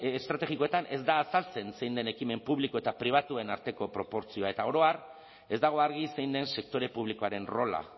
estrategikoetan ez da azaltzen zein den ekimen publiko eta pribatuen arteko proportzioa eta oro har ez dago argi zein den sektore publikoaren rola